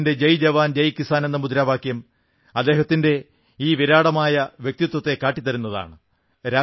അദ്ദേഹത്തിന്റെ ജയ് ജവാൻ ജയ് കിസാൻ എന്ന മുദ്രാവാക്യം അദ്ദേഹത്തിന്റെ ഈ വിരാടമായ വ്യക്തിത്വത്തെ കാട്ടിത്തരുന്നതാണ്